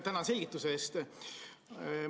Tänan selgituse eest!